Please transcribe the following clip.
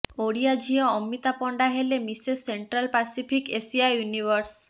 ଓଡ଼ିଆ ଝିଅ ଅମିତା ପଣ୍ଡା ହେଲେ Mrs Central Pacific Asia universe